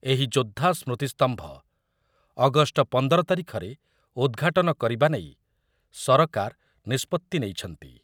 ଏହି ଯୋଦ୍ଧା ସ୍ମୃତିସ୍ତମ୍ଭ ଅଗଷ୍ଟ ପନ୍ଦର ତାରିଖରେ ଉଦ୍‌ଘାଟନ କରିବା ନେଇ ସରକାର ନିଷ୍ପତ୍ତି ନେଇଛନ୍ତି ।